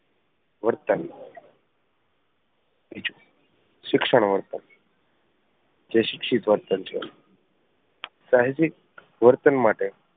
વર્તન શિક્ષણ વર્તન જે શિક્ષિત વર્તન છે સાહજિક વર્તન માટે